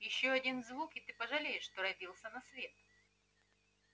ещё один звук и ты пожалеешь что родился на свет